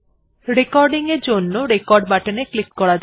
রেকর্ডিংএর জন্য রেকর্ড বাটনে ক্লিক করা যাক